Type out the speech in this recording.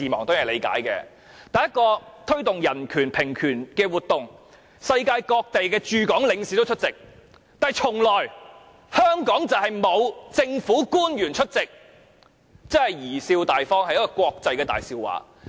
但是，一個推動人權、平權的活動，世界各地的駐港領事均出席，卻從來沒有香港的政府官員出席，真的貽笑大方，是國際的大笑話。